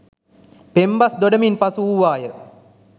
පෙම්බස් දොඩමින් පසු වූවාය